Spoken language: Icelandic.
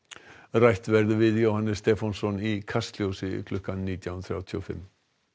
rætt verður við Jóhannes Stefánsson í Kastljósi klukkan nítján þrjátíu og fimm